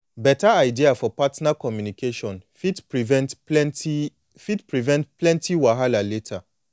beta idea for partner communication fit prevent plenty fit prevent plenty wahala later